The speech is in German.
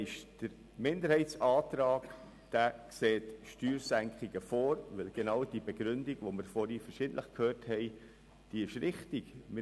Der Minderheitsantrag sieht Steuersenkungen mit genau derjenigen Begründung vor, die wir vorher wiederholt gehört haben und die auch richtig ist.